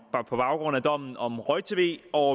baggrund af dommen om roj tv og